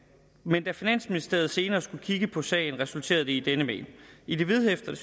men da finansministeriet senere skulle kigge på sagen resulterede det i denne mail i det vedhæftede